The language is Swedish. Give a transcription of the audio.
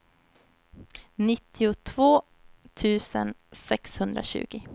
nittiotvå tusen sexhundratjugo